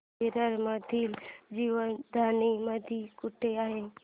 विरार मधील जीवदानी मंदिर कुठे आहे